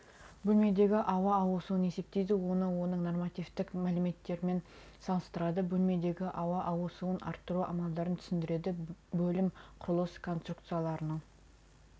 бөлмедегі ауа ауысуын есептейді оны оның нормативтік мәліметтерімен салыстырады бөлмедегі ауа ауысуын арттыру амалдарын түсіндіреді бөлім құрылыс конструкцияларының